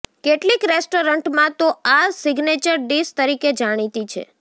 કેટલીક રેસ્ટોરન્ટમાં તો આ સિગ્નેચર ડિશ તરીકે જાણીતી છે